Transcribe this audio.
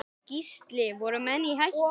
Gísli: Voru menn í hættu?